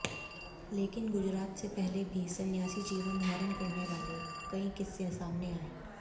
लेकिन गुजरात से पहले भी सन्यासी जीवन धारण करने वाले कई किस्से सामने आये